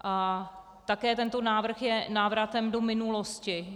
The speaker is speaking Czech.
A také tento návrh je návratem do minulosti.